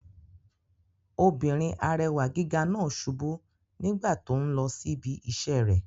Obìnrin arẹwà gíga náà subú nígbà tó n lọ sí ibi iṣẹ́ rẹ̀